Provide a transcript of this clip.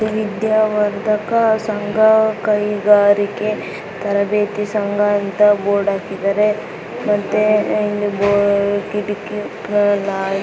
ವಿದ್ಯಾವರ್ಧಕ ಸಂಘ ಕೈಗಾರಿಕಾ ತರಬೇತಿ ಸಂಸ್ಥೆ ಅಂತ ಬೋರ್ಡ್ ಹಾಕಿದ್ದಾರೆ. ಅಲ್ಲಿ ಬಾಗಿಲು ಕಿಟಕಿಗಳು--